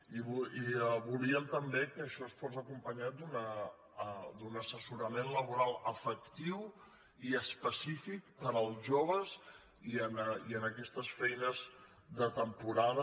i volíem també que això fos acompanyat d’un assessorament laboral efectiu i específic per als joves i en aquestes feines de temporada